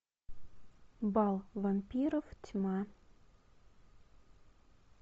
бал вампиров тьма